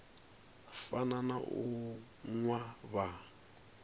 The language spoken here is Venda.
fana na u nwa vha